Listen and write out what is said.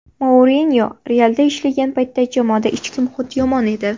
Mourinyo ‘Real’da ishlagan paytda jamoada ichki muhit yomon edi.